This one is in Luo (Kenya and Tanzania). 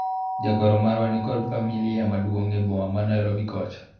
jagoro marwa niko familia maduong' e boma ma Nairobi kocha